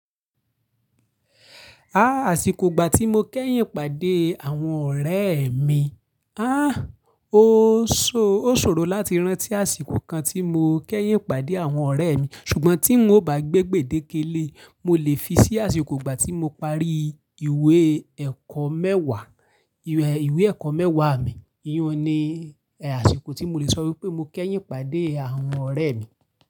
Àsìkò ìgbà tí mo kẹ́yìn pàdé àwọn ọ̀rẹ́ mi. Ó ṣòro láti rántí àsìkò kan tí mo kẹ́yìn pàdé àwọn ọ̀rẹ́ mi, ṣùgbọ́n tí n ò bá gbé gbedékélé, mo lè fi sí àsìkò ìgbà tí mo parí iwe ìwé ẹ̀kọ́ mẹ́wàá mi. Iyán ni àsìkò tí mo lè sọ wípé mo kẹ́yìn pàdé àwọn ọ̀rẹ́ mi.